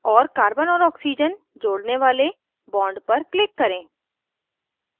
और carbon और oxygen जोड़ने वाले bond पर click करें